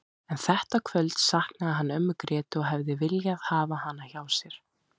En þetta kvöld saknaði hann ömmu Grétu og hefði viljað hafa hana hjá sér.